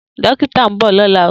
Dokita n bọ lọla.